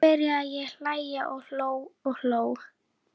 Kvíðinn yfir því að hitta manninn aftur var nagandi.